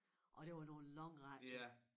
Og det var nogle lange rækker